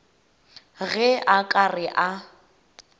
ge a ka re a